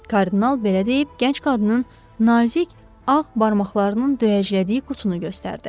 Kardinal belə deyib gənc qadının nazik, ağ barmaqlarının döyəclədiyi qutunu göstərdi.